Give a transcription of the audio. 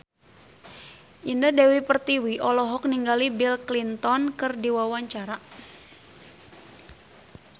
Indah Dewi Pertiwi olohok ningali Bill Clinton keur diwawancara